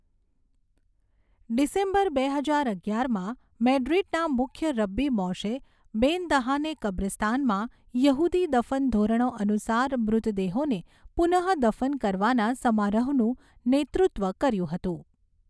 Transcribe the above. December બે હજાર અગિયારમાં મેડ્રિડના મુખ્ય રબ્બી મોશે બેન દહાને કબ્રસ્તાનમાં યહૂદી દફન ધોરણો અનુસાર મૃતદેહોને પુનઃદફન કરવાના સમારોહનું નેતૃત્વ કર્યું હતું.